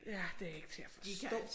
Ja det ikke til at forstå